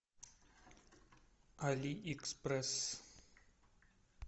алиэкспресс